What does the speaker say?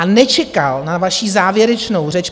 a nečekal na svou závěrečnou řeč.